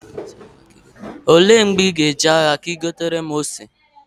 Olee mgbe ị ga- eje ahịa ka ị gotere m ose?